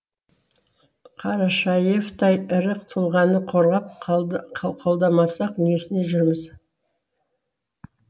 қарашаевтай ірі тұлғаны қорғап қолдамасақ несіне жүрміз